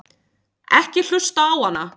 Ekki hlusta á hana!